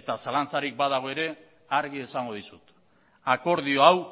eta zalantzarik badago ere argi esango dizut akordio hau